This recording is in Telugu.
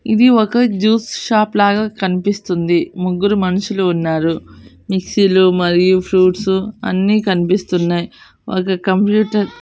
ఇది ఒక జ్యూస్ షాప్ లాగా కనిపిస్తుంది ముగ్గురు మనుషులు ఉన్నారు మిక్సీలు మరియు ఫ్రూట్స్ అన్ని కనిపిస్తున్నాయి ఒక కంప్యూటర్ .